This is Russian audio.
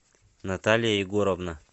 наталья егоровна